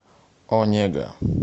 онега